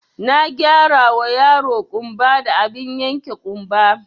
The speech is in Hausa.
Na gyarawa yaro ƙumba da abin yanke ƙumba